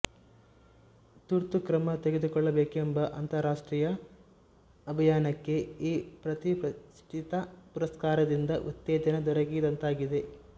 ತುರ್ತು ಕ್ರಮ ತೆಗೆದುಕೊಳ್ಳಬೇಕೆಂಬ ಅಂತರರಾಷ್ಟ್ರೀಯ ಅಭಿಯಾನಕ್ಕೆ ಈ ಪ್ರತಿಷ್ಠಿತ ಪುರಸ್ಕಾರದಿಂದ ಉತ್ತೇಜನ ದೊರಕಿದಂತಾಗಿದೆ